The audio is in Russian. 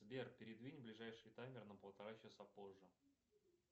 сбер передвинь ближайший таймер на полтора часа позже